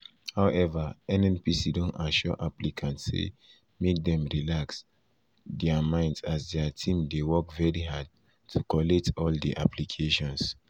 however nnpc don assure applicants say make dem relax dem relax dia minds as dia team dey work very hard to collate all di applications.